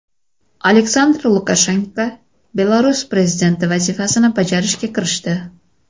Aleksandr Lukashenko Belarus prezidenti vazifasini bajarishga kirishdi .